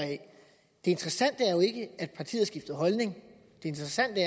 det interessante er jo ikke at partiet har skiftet holdning det interessante